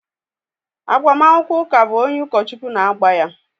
Agbamakwụkwọ ụka bụ onye ụkọchukwu na-agba ya.